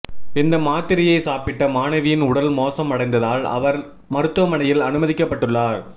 இந்த மாத்திரையை சாப்பிட்ட மாணவியின் உடல் மோசம் அடைந்ததால் அவர் மருத்துவமனையில் அனுமதிக்கப்பட்டுள்ளார்